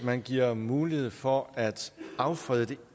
man giver mulighed for at affrede det